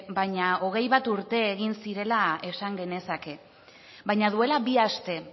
baina hogei bat urte egin zirela esan genezake baina duela bi aste